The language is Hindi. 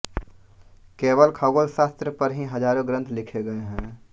केवल खगोलशास्त्र पर ही हजारों ग्रंथ लिखे गये हैं